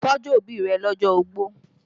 Tọ́jú òbí rẹ lọ́jọ́ ogbó!